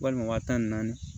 Walima waa tan ni naani